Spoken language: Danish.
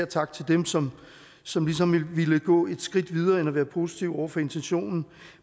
tak til dem som som ligesom har villet gå et skridt videre end at være positive over for intentionen